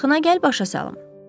Yaxına gəl başa salım.